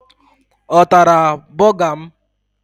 Ọ tara bọga m?